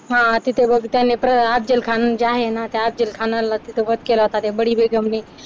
हा तिथे बघ त्यांनी अफजल खान जे आहे ना त्या अफजल खानाला तिथे वध केला होता त्या बडी बेगम ने